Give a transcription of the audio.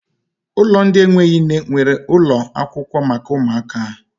Ụlọ ndị enweghị nne nweere ụlọ akwụkwọ maka ụmụaka ahụ.